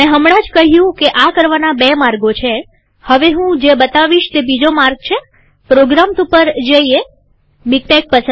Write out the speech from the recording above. મેં હમણાં જ કહ્યું કે આ કરવાના બે માર્ગો છેહવે હું જે બતાવીશ તે બીજો માર્ગ છેપ્રોગ્રામ્સ ઉપર જઈએમીક્ટેક